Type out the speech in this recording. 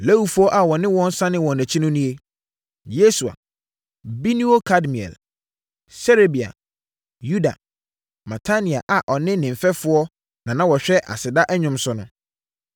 Lewifoɔ a wɔne wɔn sanee wɔn akyi no nie: Yesua, Binui Kadmiel, Serebia, Yuda, Matania a na ɔne ne mfɛfoɔ na na wɔhwɛ aseda nnwom so no.